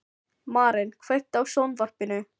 Maren, kveiktu á sjónvarpinu.